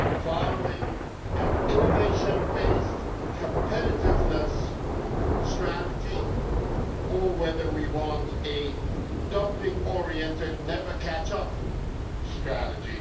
following an innovation based competitiveness strategy, or whether we want a dumping oriented, never catch up strategy.